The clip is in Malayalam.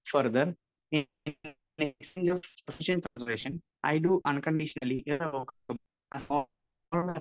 speaker 1 further I do unconditionally irrevocably of